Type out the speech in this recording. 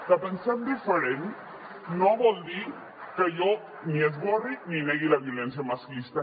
que pensem diferent no vol dir que jo ni esborri ni negui la violència masclista